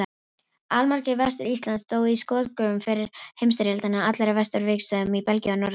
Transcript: Allmargir Vestur-Íslendingar dóu í skotgröfum fyrri heimsstyrjaldarinnar, allir á vesturvígstöðvunum í Belgíu og Norður-Frakklandi.